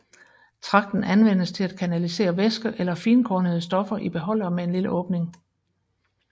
Tragten anvendes til at kanalisere væske eller finkornede stoffer i beholdere med en lille åbning